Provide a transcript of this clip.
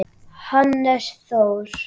Hannes Þór.